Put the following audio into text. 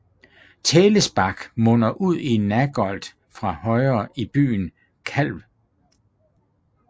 Tälesbach munder ud i Nagold fra højre i byen Calw